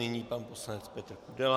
Nyní pan poslanec Petr Kudela.